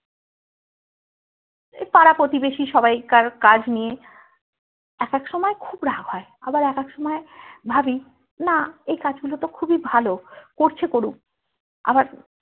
এই পারা পতিবেশী সবাই কার কাজ নিয়ে এক এক সময় খুব রাগ হয় আবার এক এক সময় ভাবি না এই কাজ গুলো তো খুবই ভালো করছে করুক আবার